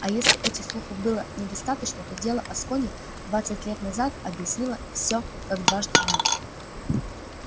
а если этих слухов и было недостаточно то дело аскони двадцать лет назад объяснило всё как дважды два